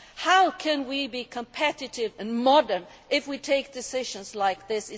How can we be competitive and modern if we take decisions like this?